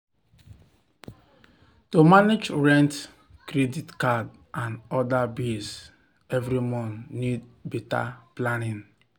to manage rent credit card and other bills every month need better planning.